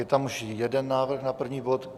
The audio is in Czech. Je tam už jeden návrh na první bod.